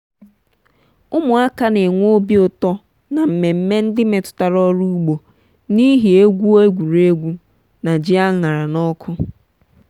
ụmụaka na-enwe obi ụtọ n'mmemme ndị metụtara ọrụ ugbo n'ihi egwu egwuregwu na ji a ṅara n'ọkụ.